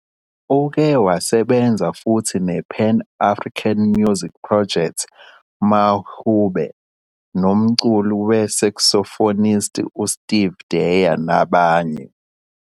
Uke wasebenza futhi ne-pan-African music project Mahube nomculi we-saxophonist uSteve Dyer nabanye.